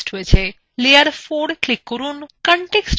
আবার layer four click করুন